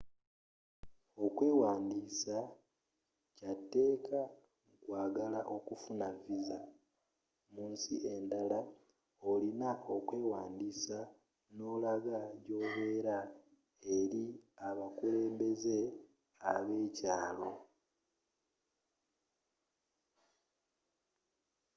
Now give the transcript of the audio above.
okwewandisa kyatekka mukwagala okufuna visa mu nsi enddala olina okwewandisa n'olagga gyobela eri abakulembeze abekyalo